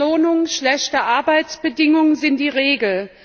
Miese Entlohnung, schlechte Arbeitsbedingungen sind die Regel.